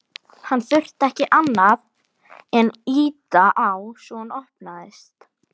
Hann þurfti ekki annað en ýta á svo hún opnaðist.